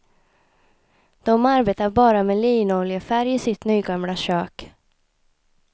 De arbetar bara med linoljefärg i sitt nygamla kök.